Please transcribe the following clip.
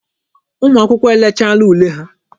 Ụmụ akwụkwọ elechaala ule ha.